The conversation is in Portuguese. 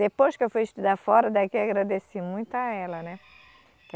Depois que eu fui estudar fora daqui, eu agradeci muito a ela, né que.